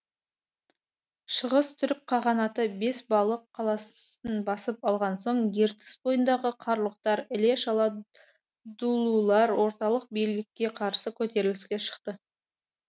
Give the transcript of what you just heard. шығыс түрік қағанаты бесбалық қаласын басып алған соң ертіс бойындағы қарлұқтар іле шала дулулар орталық билікке қарсы көтеріліске шықты